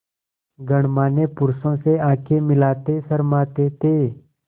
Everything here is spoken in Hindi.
गणमान्य पुरुषों से आँखें मिलाते शर्माते थे